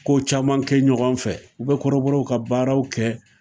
Ko caman kɛ ɲɔgɔn fɛ ,u bɛ kɔrɔbɔɔw ka baaraw kɛ.